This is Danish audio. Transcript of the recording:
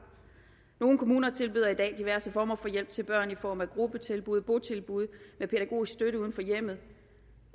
nogle kommuner tilbyder i dag diverse former for hjælp til børn i form af gruppetilbud og botilbud med pædagogisk støtte uden for hjemmet